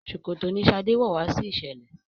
ṣòkòtò ní shade wọ wá sí iṣẹlẹ